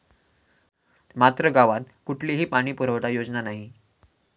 ात्र गावात कुठलीही पाणी पुरवठा योजना नाही.